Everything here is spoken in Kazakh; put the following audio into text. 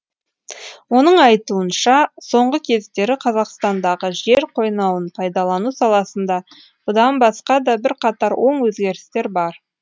оның айтуынша соңғы кездері қазақстандағы жер қойнауын пайдалану саласында бұдан басқа да бірқатар оң өзгерістер бар